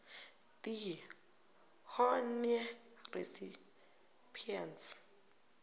d honneur recipients